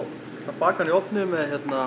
baka hann í ofni með